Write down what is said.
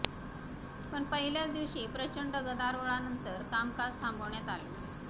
पण पहिल्याच दिवशी प्रचंड गदारोळानंतर कामकाज थांबवण्यात आलं